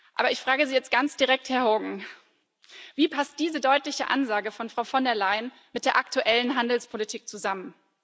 Aber ich frage Sie jetzt ganz direkt, Herr Hogan Wie passt diese deutliche Ansage von Frau von der Leyen mit der aktuellen Handelspolitik zusammen?